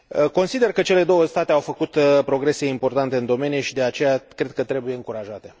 Consider că cele două state au făcut progrese importante în domeniu și, de aceea, cred că trebuie încurajate.